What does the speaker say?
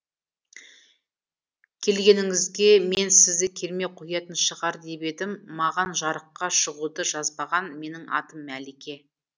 келгеніңізге мен сізді келмей қоятын шығар деп едім маған жарыққа шығуды жазбаған менің атым мәлике